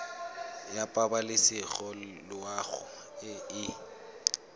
ya pabalesego loago e e